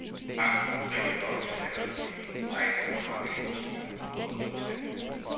Banken ønsker ikke at oplyse aldersfordelingen og ej heller, hvor mange anmodninger den håber at modtage.